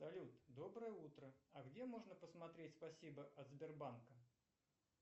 салют доброе утро а где можно посмотреть спасибо от сбербанка